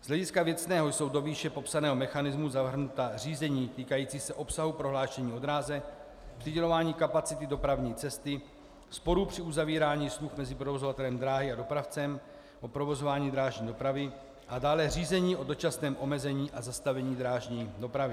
Z hlediska věcného jsou do výše popsaného mechanismu zahrnuta řízení týkající se obsahu prohlášení o dráze, přidělování kapacity dopravní cesty, sporů při uzavírání smluv mezi provozovatelem dráhy a dopravcem o provozování drážní dopravy a dále řízení o dočasném omezení a zastavení drážní dopravy.